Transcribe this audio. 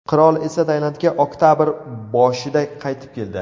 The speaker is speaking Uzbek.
Qirol esa Tailandga oktabr boshida qaytib keldi.